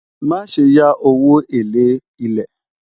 má sé yá owó élè ilè